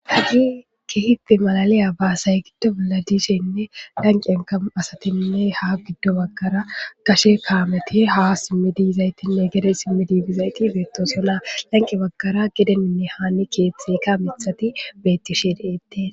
Hagi ki hite malaliya baasay giddo bolla diisheynne danqenka asatinne ha giddo baggara kashe kaameti ha simmi dizaytinne gede simmidizizayti beetosola lanqe baggara gedeninne haani keeththeka mithati beetti she de7ette.